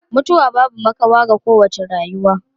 Mutuwa babu makawa ga kowace rayuwa.